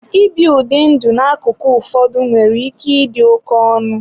Ibi ụdị ndụ n'akụkụ ụfọdụ nwere ike ịdị oke ọnụ.